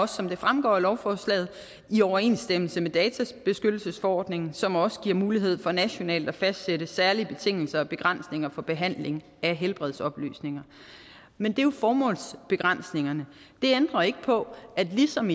som det fremgår af lovforslaget i overensstemmelse med databeskyttelsesforordningen som også giver mulighed for nationalt at fastsætte særlige betingelser og begrænsninger for behandling af helbredsoplysninger men det er jo formålsbegrænsningerne det ændrer ikke på at ligesom